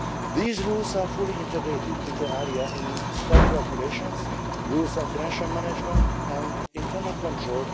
These rules are fully integrated inter alia in the Staff Regulations and the rules on financial management and internal control.